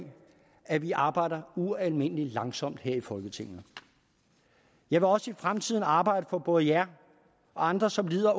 at vi arbejder ualmindelig langsomt her i folketinget jeg vil også i fremtiden arbejde for både jer og andre som lider